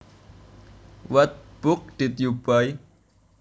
What book did you buy